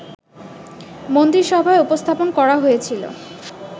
মন্ত্রিসভায় উপস্থাপন করা হয়েছিল